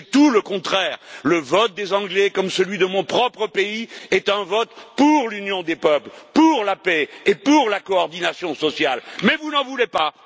C'est tout le contraire le vote des Anglais, comme celui de mon propre pays, est un vote pour l'union des peuples, pour la paix et pour la coordination sociale, mais vous n'en voulez pas.